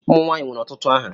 Ụmụ nwanyị nwere ọtụtụ aha.